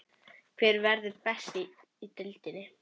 Hver verður best í deildinni?